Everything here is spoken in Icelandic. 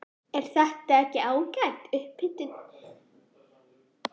Er þetta ekki ágæt upphitun fyrir Hönnunarmars, Gunnar?